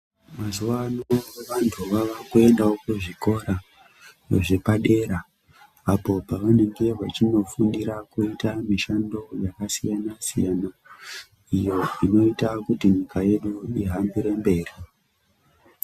Mazuwano vanhu vavakuendawo kuzvikora zvepadera apo pavanenga veinofundira kuita mishando yakasiyana siyana iyo inoita kuti nyika yedu ihambire mberi